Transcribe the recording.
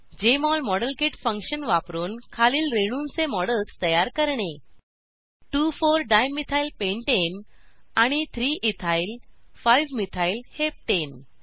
Jmol model kit function वापरून खालील रेणूंचे मॉडेल्स तयार करणे 2 4 डायमिथाइल पेंटाने आणि 3 इथाइल 5 मिथाइल हेप्टने